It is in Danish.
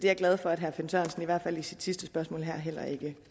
jeg glad for at herre finn sørensen i hvert fald i sit sidste spørgsmål her heller ikke